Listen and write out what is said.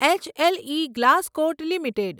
H L E Glascoat limited